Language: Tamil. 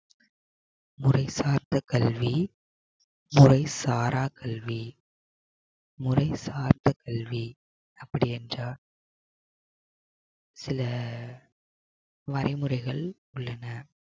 மொழி சார்ந்த கல்வி மொழி சாரா கல்வி. மொழி சார்ந்த கல்வி அப்படி என்றால் சில வரைமுறைகள் உள்ளன